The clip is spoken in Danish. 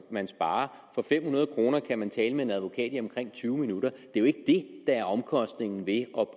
man sparer for fem hundrede kroner kan man tale med en advokat i omkring tyve minutter er jo ikke det der er omkostningen ved